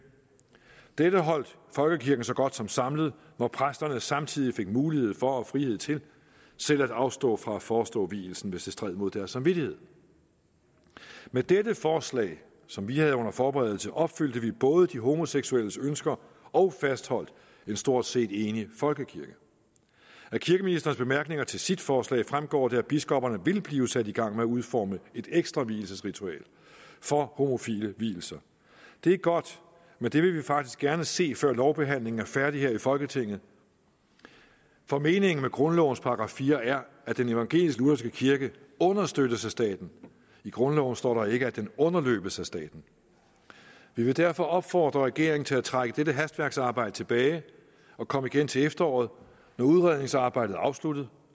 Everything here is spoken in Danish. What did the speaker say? dette holdt folkekirken så godt som samlet når præsterne samtidig fik mulighed for og frihed til selv at afstå fra at forestå vielsen hvis det stred mod deres samvittighed med dette forslag som vi havde under forberedelse opfyldte vi både de homoseksuelles ønsker og fastholdt en stort set enig folkekirke af kirkeministerens bemærkninger til sit forslag fremgår det at biskopperne vil blive sat i gang med at udforme et ekstra vielsesritual for homofile vielser det er godt men det vil vi faktisk gerne se før lovbehandlingen er færdig her i folketinget for meningen med grundlovens § fire er at den evangelisk lutherske kirke understøttes af staten i grundloven står der ikke at den underløbes af staten vi vil derfor opfordre regeringen til at trække dette hastværksarbejde tilbage og komme igen til efteråret når udredningsarbejdet er afsluttet